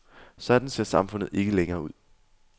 Sådan ser samfundet ikke længere ud.